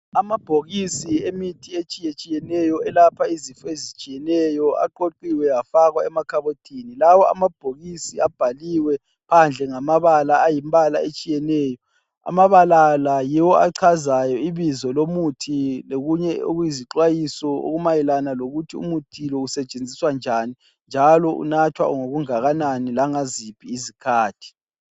Amabhokisi emithi etshiyetshiyeneyo elapha izifo ezitshiyeneyo aqoqiwe afakwa emakhabothini. Lawa amabhokisi abhaliwe phandle ngamabala ayimbala etshiyeneyo. Amabala la yiwo achazayo ibizo lomuthi lokunye okuyizixwayiso okumayelana lokuthi umuthi lo usetshenziswa njani njalo unathwa ngokungakanani langaziphi izikhathi.